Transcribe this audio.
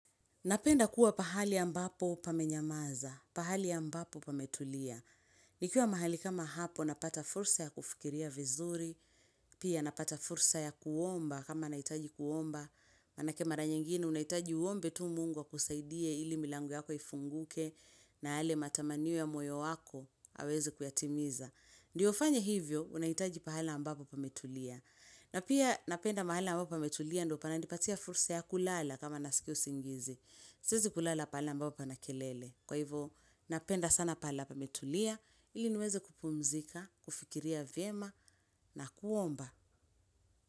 Napenda kuwa pahali ambapo pamenyamaza, pahali ya ambapo pametulia. Nikiwa mahali kama hapo, napata fursa ya kufikiria vizuri, pia napata fursa ya kuomba kama nahitaji kuomba. Maanake mara nyingine, unahitaji uombe tu Mungu akusaidie ili milango yako ifunguke na yale matamanio ya moyo wako, aweze kuyatimiza. Ndiyo ufanye hivyo, unahitaji pahali ambapo pametulia. Na pia napenda mahali ya mbapo pametulia ndiyo pananipatia fursa ya kulala kama nasikia usingizi. Siwezi kulala pahali ambapo pana kelele. Kwa hivyo, napenda sana pala pametulia, ili nweze kupumzika, kufikiria vyema na kuomba.